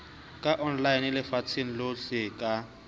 ka online lefatsheng lohle ka